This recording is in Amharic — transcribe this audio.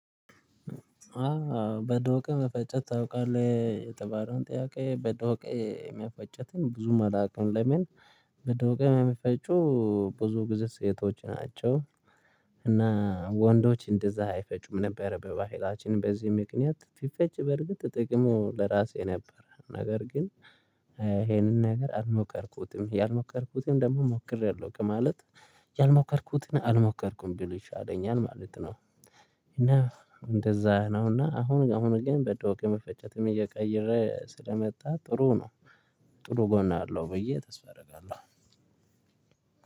በደውቄ መፈጨት ታውቃለህ የተባለውን ጥያቄ በደውቄ የመፈጨቱን ብዙም አላውቅም ለምን? በደዉቄ የሚፈጩ ብዙ ጊዜ ሴቶች ናቸው። እና ወንዶች እንደዛ አይፈጩም ነበር በባህላችን በዚህ ምክንያት በፈጭ በርግጥ ጥቅሙ ለራሴ ነበር ነገር ግን ይሄንን ነገር አልሞከርኩትም ያልሞከርኩትም ደግሞ ሞክሬያለሁ ከማለት ያልሞከርኩትን አልሞከርኩም ቢል ይሻለኛል ማለት ነው። እና እንደዛ ነውና አሁን አሁን ግን በደውቅ መፈጨትም እየቀየረ ስለመጣ ጥሩ ነው። ጥሩ ጎን አለው ብዬ ተስፋ አደርጋለሁ።